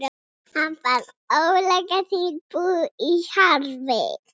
Hann fann ónotatilfinningu heltaka sig.